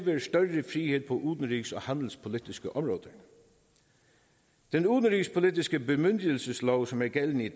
frihed på udenrigs og handelspolitiske områder den udenrigspolitiske bemyndigelseslov som er gældende